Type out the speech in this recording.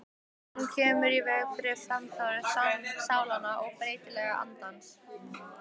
Hún kemur í veg fyrir framþróun sálnanna og breytileik andans.